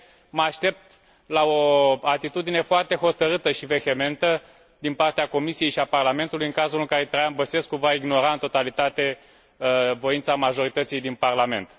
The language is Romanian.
Mă aștept la o atitudine foarte hotărâtă și vehementă din partea Comisiei și a Parlamentului, în cazul în care Traian Băsescu va ignora în totalitate voința majorității din Parlament.